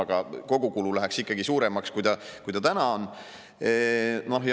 " Aga kogukulu läheks ikkagi suuremaks, kui see täna on.